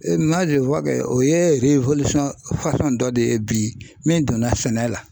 o ye dɔ de ye bi min donna sɛnɛ la.